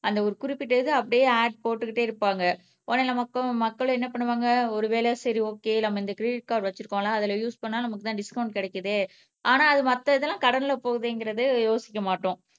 அந்த ஒரு குறிப்பிட்ட இத அப்பிடியே ஆட் போட்டுக்கிட்டே இருப்பாங்க உடனே நமக்கும் மக்கள் என்ன பண்ணுவாங்க ஒருவேளை செரி ஓகே நம்ம இந்த கிரிடிட் கார்ட் வச்சுருகோம்ல அதுல யூஸ் பண்ணா நமக்கு தான் டிஸ்கவுன்ட் கிடைக்குதே ஆனா அது மத்த இதலாம் கடன்ல போகுதேங்குறத யோசிக்க மாட்டோம்